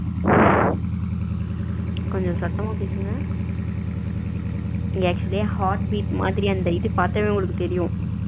கொஞ்ச சத்தமா பேசுங்க இங்க actually heartbeat மாதிரி அந்த இது பாத்தாவே உங்களுக்கு தெரியும்.